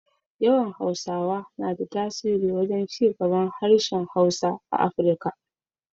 Yawan Hausawa na da tasiri wajen cigaban harshen Hausa a Afirika.